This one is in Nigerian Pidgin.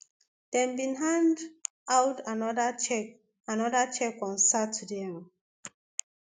dem bin hand out anoda cheque anoda cheque on sunday um